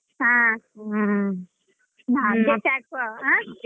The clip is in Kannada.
ಹ .